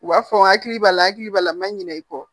U b'a fɔ n hakili b'a la hakili b'a la ma ɲinɛ i kɔ